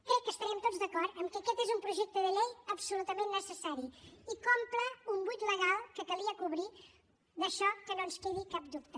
crec que estarem tots d’acord que aquest és un projecte de llei absolutament necessari i que omple un buit legal que calia cobrir d’això que no ens quedi cap dubte